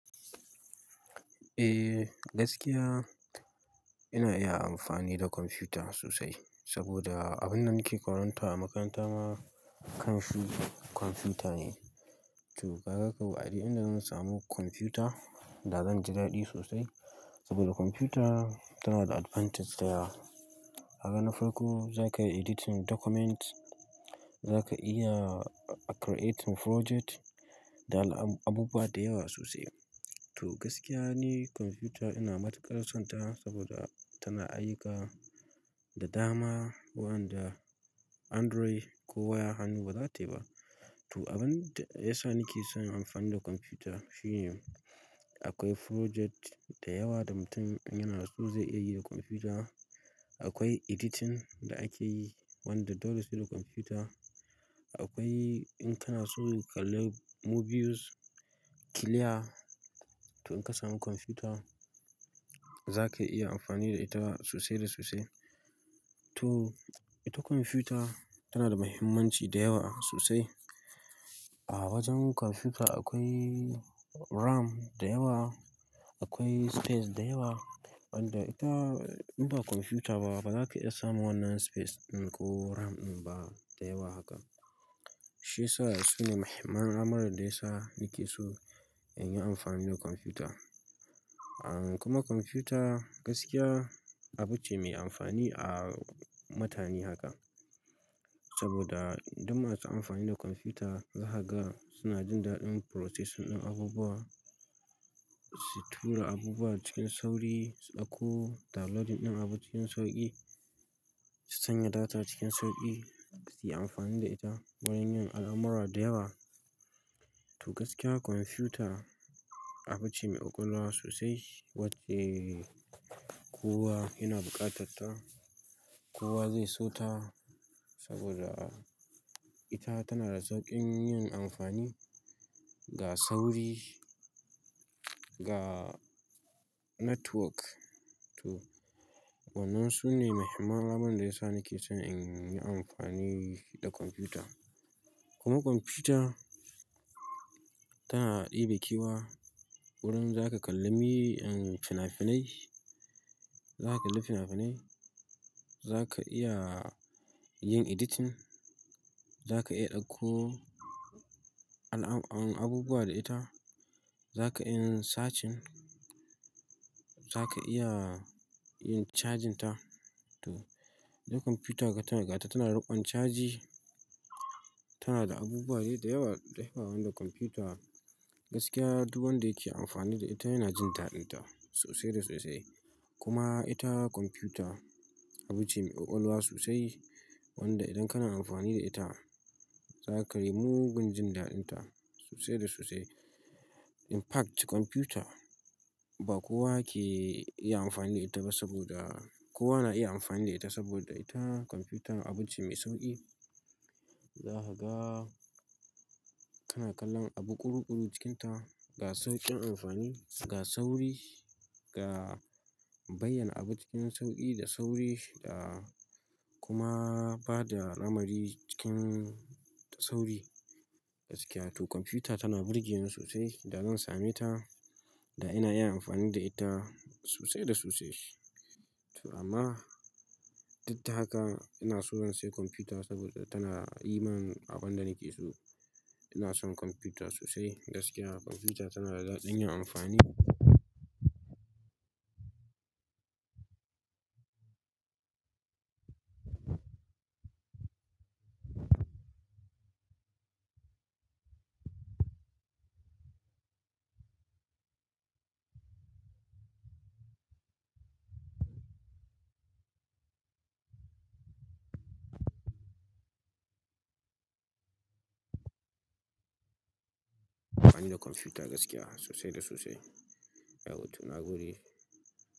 Eh, gaskiya ina iya amfani da kwamfuta sosai saboda abin da nake karanta a makaranta ma kan shi kwamfuta ne. To, kaga kau a duk in da zan samu kwamfuta da zan ji daɗi sosai saboda kwamfuta tana da advantage da yawa. Haka na farko za ka editing document, za ka iya creating project da abubuwa da yawa sosai. To, gaskiya ni kwamfuta ina matuƙar son ta saboda tana ayuka da dama wanda Android ko waya hannu ba za ta yi ba. To, abin da ya sa nake son in amfani da kwamfuta shine akwai project da yawa da mutum yana so zai iya yi da kwamfuta. Akwai editing da ake yi wanda dole su da kwamfuta. Akwai in kana so ka kalla movies, ki leya. To, in ka samu kwamfuta za ka iya amfani da ita sosai da sosai. To, ita kwamfuta tana da muhimmanci da yawa sosai. A wajen komfuta akwai ram da yawa akwai space da yawa wanda ita in ba komfuta bazaka taba samun wannan space din ba ko ram din ba shi ya sa su ne muhimman lamarin da ya sa nake so in yi amfani da kwamfuta. Kuma kwamfuta gaskiya abu ce mai amfani a matani haka saboda duk ma su amfani da kwamfuta zahaga suna jin daɗin processing ɗin abubuwa, su tura abubuwa cikin sauri, su ɗauko downloading ɗin abu cikin sauƙi, su sanya data cikin sauƙi, su yi amfani da ita wurin yin alamura da yawa. To, gaskiya kwamfuta abu ce mai ƙwaƙwalwa sosai wacce kowa yana buƙatar ta, kowa zai so ta saboda ita tana da sauƙin yin amfani, ga sauri, ga network. To, wannan su ne muhimman lamarin da ya sa nake son in yi amfani da kwamfuta. Kuma kwamfuta tana ɗebe kewa wurin za ka kalli fim finai, za ka kalli fina-finai, za ka iya yin editing, za ka iya ɗauko abubuwa da ita, za ka iya yin searching, za ka iya yin charging ta. To, idan kwamfuta ka tana gata tana ruɓan caji, tana da abubuwa da yawa, da yawa wanda kwamfuta gaskiya duk wanda yake amfani da ita yana jin taɗin ta sosai da sosai. Kuma ita kwamfuta abu ce mai ƙwaƙwalwa sosai wanda idan kana amfani da ita za ka yi mugun jin daɗin ta sosai da sosai. In fact kwamfuta ba kowa ke iya amfani da ita ba saboda kowa na iya amfani da ita saboda ita kwamfuta abu ce mai sauƙi. Zahaga kana kallon abu ƙuruƙuru cikinta ga sauƙin amfani, ga sauri, ga bayyana abu cikin sauƙi da sauri da kuma bada lamari cikin sauri gaskiya. To, kwamfuta tana burge ni sosai da zan same ta da ina iya amfani da ita sosai da sosai. To amma, duk da haka ina so na sai kwamfuta saboda tana yi mani abin da nake so. Ina son kwamfuta sosai gaskiya. Kwamfuta tana da daɗin yin amfani. Amfani da kwamfuta gaskiya sosai da sosai. Eh, to na gode.